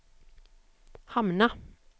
hamna